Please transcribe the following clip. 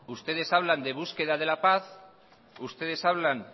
ustedes hablan de búsqueda de la paz ustedes hablan